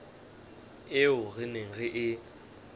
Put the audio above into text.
eo re neng re e